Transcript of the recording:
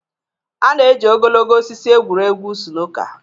A na-eji ogologo osisi egwuri egwu snooker er